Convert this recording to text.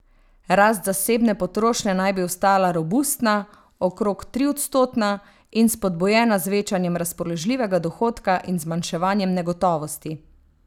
Rast zasebne potrošnje naj bi ostala robustna, okrog triodstotna, in spodbujena z večanjem razpoložljivega dohodka in zmanjševanjem negotovosti.